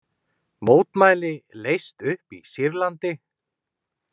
Mótmæli leyst upp í Sýrlandi